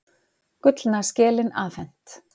Gullna skelin afhent